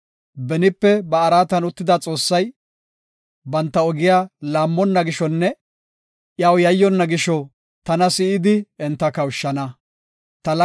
Benipe ba araatan uttida Xoossay, banta ogiya laammonna gishonne iyaw yayyonna gisho tana si7idi enta kawushana. Salaha